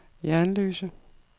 Jernløse